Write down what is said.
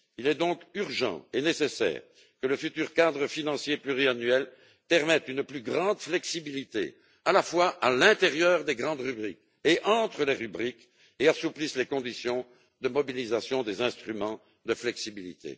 Il est donc urgent et nécessaire que le futur cadre financier pluriannuel permette une plus grande flexibilité à la fois à l'intérieur des grandes rubriques et entre les rubriques, et assouplisse les conditions de mobilisation des instruments de flexibilité.